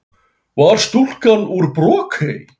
Hvar var stúlkan úr Brokey?